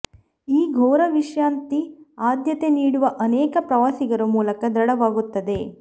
ಈ ಘೋರ ವಿಶ್ರಾಂತಿ ಆದ್ಯತೆ ನೀಡುವ ಅನೇಕ ಪ್ರವಾಸಿಗರು ಮೂಲಕ ದೃಢವಾಗುತ್ತದೆ